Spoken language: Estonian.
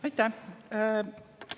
Aitäh!